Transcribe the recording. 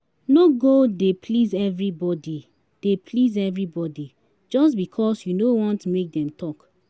no go dey please evribodi dey please evribodi jus bikos yu no want mek dem tok